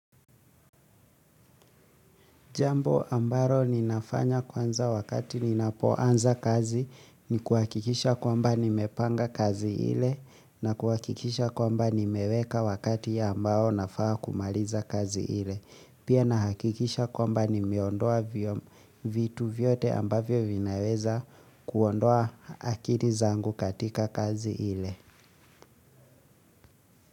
Jambo ambaro ninafanya kwanza wakati ninapoanza kazi ni kuhakikisha kwamba nimepanga kazi ile na kuhakikisha kwamba nimeweka wakati ambao nafaa kumaliza kazi ile. Pia nahakikisha kwamba nimeondoa vitu vyote ambavyo vinaweza kuondoa akiri zangu katika kazi ile.